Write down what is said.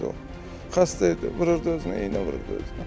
Xəstə idi, vururdu özünə, iynə vururdu özünə.